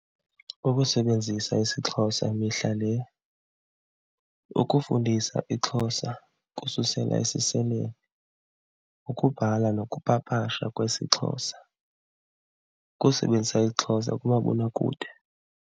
Ukusebenzisa isiXhosa mihla le. Ukufundisa iXhosa kususela esiseleni. Ukubhala nokupapashwa kwesiXhosa, ukusebenzisa iXhosa kumabonakude.